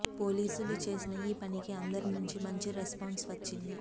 పోలీసులు చేసిన ఈ పనికి అందరి నుంచి మంచి రెస్పాన్స్ వచ్చింది